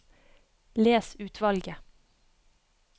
Les utvalget